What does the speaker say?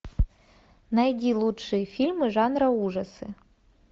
найди лучшие фильмы жанра ужасы